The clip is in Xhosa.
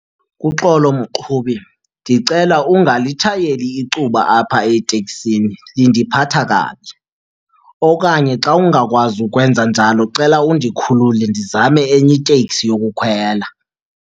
Uxolo, mqhubi. Ndicela ungalitshayeli icuba apha eteksini indiphatha kabi. Okanye xa ungakwazi ukwenza njalo, cela undikhulule ndizame enye iteksi yokukhwela.